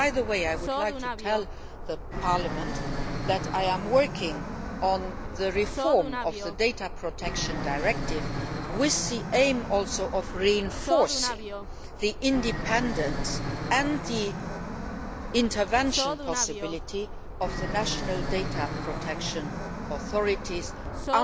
works. By the way, I would like to tell Parliament that I am working on the reform of the Data Protection Directive, partly with the aim of reinforcing the independence and the intervention opportunities of the national data protection authorities